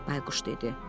Bayquş dedi.